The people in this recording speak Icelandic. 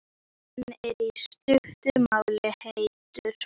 Hann er, í stuttu máli, heitur.